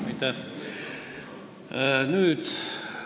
Aitäh!